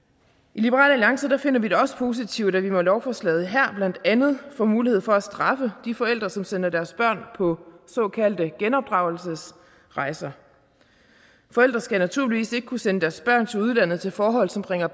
i liberal alliance finder vi det også positivt at vi med lovforslaget her blandt andet får mulighed for at straffe de forældre som sender deres børn på såkaldte genopdragelsesrejser forældre skal naturligvis ikke kunne sende deres børn til udlandet til forhold som bringer